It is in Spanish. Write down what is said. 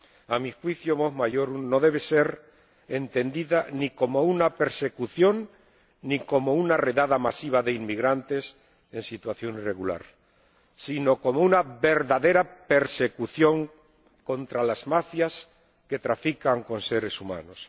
A mi juicio, Mos Maiorum no debe ser entendida ni como una persecución ni como una redada masiva de inmigrantes en situación irregular, sino como una verdadera persecución contra las mafias que trafican con seres humanos.